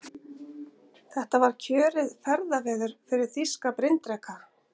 Þetta var kjörið ferðaveður fyrir þýska bryndreka.